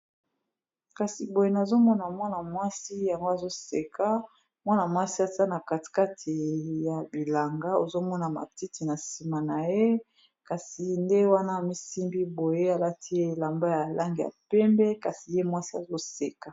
kasi boye nazomona mwana mwasi yango azoseka mwana mwasi azana katikati ya bilanga ozomona matiti na nsima na ye kasi nde wana a misimbi boye alati ye elamba ya elange ya pembe kasi ye mwasi azoseka